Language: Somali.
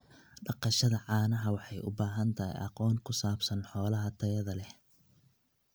Dhaqashada caanaha waxay u baahan tahay aqoon ku saabsan xoolaha tayada leh.